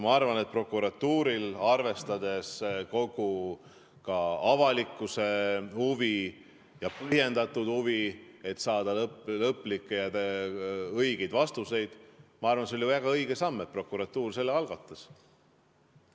Ma arvan, et arvestades ka avalikkuse huvi ja põhjendatud huvi, selleks et saada lõplikke ja õigeid vastuseid, oli see väga õige samm, et prokuratuur selle algatas.